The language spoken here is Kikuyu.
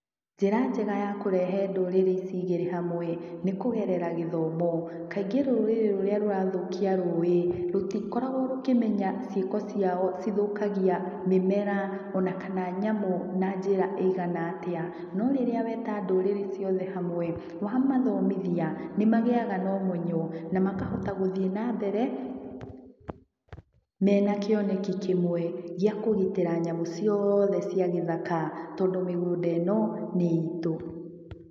Njĩra njega ya kũrehe ndũrĩrĩ ici igĩrĩ hamwe, nĩ kũgerera gĩthomo. Kaingĩ rũrĩrĩ rũrĩa rũrathũkia rũĩ, rũtikoragũo rũkĩmenya ciĩko ciao cithũkagia mĩmera, ona kana nyamũ na njĩra ĩigana atĩa. No rĩrĩa weta ndũrĩrĩ ciothe hamwe, wamathomithia, nĩmagĩaga na ũmenyo, na makahota gũthiĩ na mbere, ,mena kĩoneki kĩmũe, gĩa kũgitĩra nyamũ cioothe cia gĩthaka, tondũ mĩgũnda ĩno nĩ itũ.